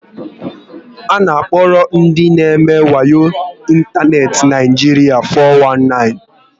A na akpokari ndị n'eme wayo n'Ịntaneti n'Naijiria ndị four one nine